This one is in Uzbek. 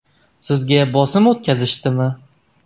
Sizga bosim o‘tkazishdimi?